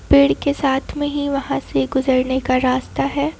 पेड़ के साथ में ही वहां से गुजरने का रास्ता है।